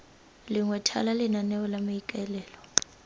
lengwe thala lenaneo la maikaelelo